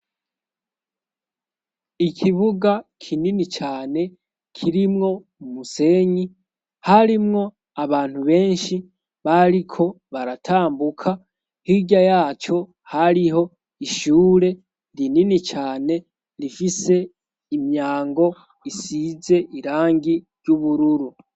Ikibuga kinini cane kirimwo umusenyi harimwo abantu benshi bariko baratambuka hirya yaco hariho ishure ndi inini cane rifise imyango isize irangi gi ry'ubururu.